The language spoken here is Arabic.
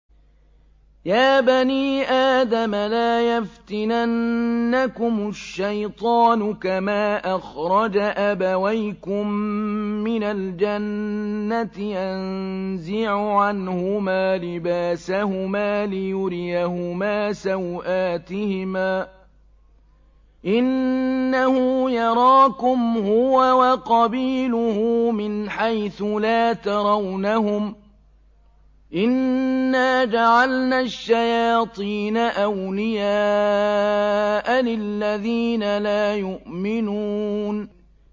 يَا بَنِي آدَمَ لَا يَفْتِنَنَّكُمُ الشَّيْطَانُ كَمَا أَخْرَجَ أَبَوَيْكُم مِّنَ الْجَنَّةِ يَنزِعُ عَنْهُمَا لِبَاسَهُمَا لِيُرِيَهُمَا سَوْآتِهِمَا ۗ إِنَّهُ يَرَاكُمْ هُوَ وَقَبِيلُهُ مِنْ حَيْثُ لَا تَرَوْنَهُمْ ۗ إِنَّا جَعَلْنَا الشَّيَاطِينَ أَوْلِيَاءَ لِلَّذِينَ لَا يُؤْمِنُونَ